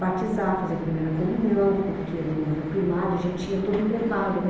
Batizar, fazer a primeira comunhão, porque no no primário a gente tinha todo um preparo, né?